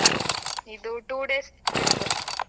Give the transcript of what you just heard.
ಇದು two days trip .